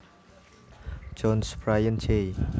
Jones Brian Jay